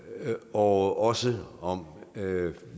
og også om